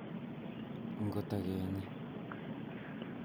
ngotakenyi